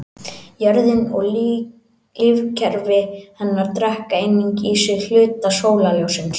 Jörðin og lífkerfi hennar drekka einnig í sig hluta sólarljóssins.